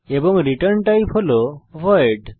এবং return type হল void